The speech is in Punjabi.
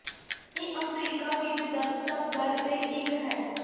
ਇਹ ਅਫਰੀਕਾ ਵਿੱਚ ਦਰਜ ਸਭ ਦਰ ਦੇ ਇੱਕ ਹੈ